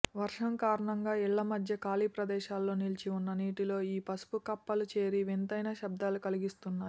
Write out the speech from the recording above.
వర్షం కారణంగా ఇళ్ల మధ్య ఖాళీ ప్రదేశాలలో నిలిచిఉన్న నీటిలో ఈ పసుపు కప్పలు చేరి వింతైన శబ్దాలు కలిగిస్తున్నాయి